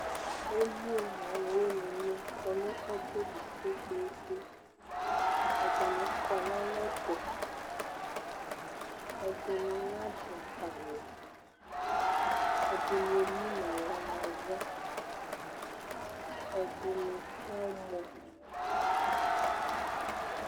emlo n'aluwini ni kɔ nu ɔbeli kpekpekpe ɛdini kɔ n'alɛtu ɛdini nadu awu, ɛdini emun'aɣla nava, ɛdini kamɔ